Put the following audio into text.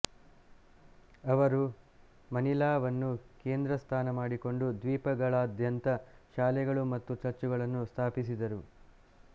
ಅವರು ಮನಿಲಾವನ್ನು ಕೇಂದ್ರ ಸ್ಥಾನ ಮಾಡಿಕೊಂಡು ದ್ವೀಪಗಳಾದ್ಯಂತ ಶಾಲೆಗಳು ಮತ್ತು ಚರ್ಚುಗಳನ್ನು ಸ್ಥಾಪಿಸಿದರು